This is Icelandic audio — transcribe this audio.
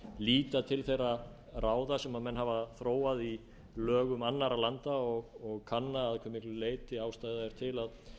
líta til þeirra ráða sem menn hafa þróað í lögum annarra landa og kannað að hve miklu leyti ástæða er til að